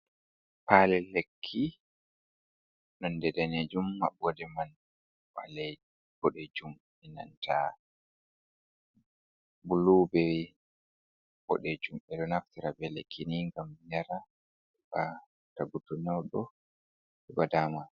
Palel lekki nonde danejum maɓɓoɗe man wale bodejum enanta bulu be boɗejum, ɓeɗo naftira be lekki ni ngam yara ba tagu to nyauɗo heɓa dama.